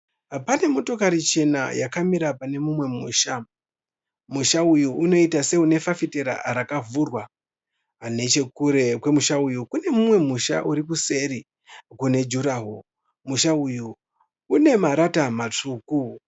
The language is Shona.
Pane motokari chena yakamira pane mumwe musha. Musha uyu unoita seune fafitera rakavhurwa. Neche kure kwemusha uyu kune mumwe musha uri kuseri une juraho. Musha uyu une marata matsvuku.